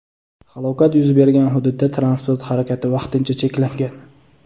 Halokat yuz bergan hududda transport harakati vaqtincha cheklangan.